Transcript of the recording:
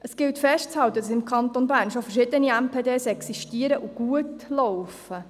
Es gilt festzuhalten, dass im Kanton Bern schon verschiedene MPD existieren und gut laufen.